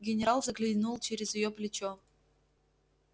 генерал заглянул через её плечо